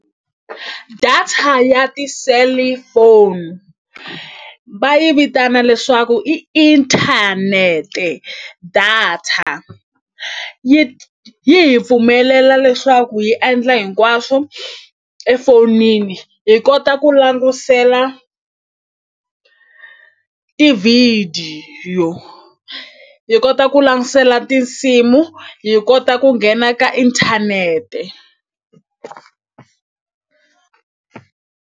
Data ya ti-cellphone va yi vitana leswaku i inthanete data yi yi hi pfumelela leswaku hi endla hinkwaswo efonini hi kota ku langutisela tivhidiyo hi kota ku langutisela tinsimu hi kota ku nghena ka inthanete.